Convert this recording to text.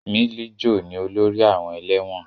Milijo ni olórí àwọn ẹlẹ́wọ̀n